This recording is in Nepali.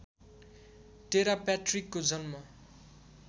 टेरा प्याट्रिकको जन्म